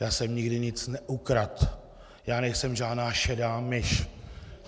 Já jsem nikdy nic neukradl, já nejsem žádná šedá myš!